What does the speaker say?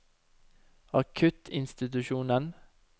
akuttinstitusjonen